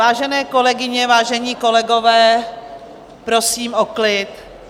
Vážené kolegyně, vážení kolegové, prosím o klid.